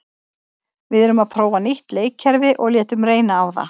Við erum að prófa nýtt leikkerfi og létum reyna á það.